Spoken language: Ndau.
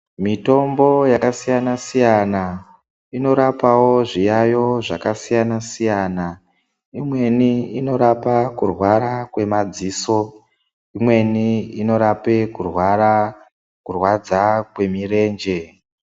Mitombo yakasiyana siyana inorapawo zviyaiyo zvakasiyana siyana. Imweni inorapa kurwara kwemadziso, imweni inorape kurwadza kwemirenje.